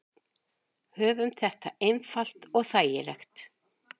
Höfum þetta einfalt og þægilegt.